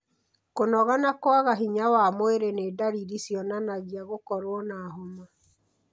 Kũnoga na kũaga hinya wa mwĩrĩ nĩ ndariri cionanagia gũkorwo na homa.